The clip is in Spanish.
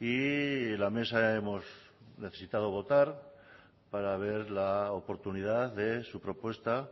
y la mesa hemos necesitado votar para ver la oportunidad de su propuesta